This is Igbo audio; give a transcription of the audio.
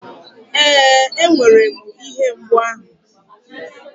Ee, enwere m ihe mgbu ahụ.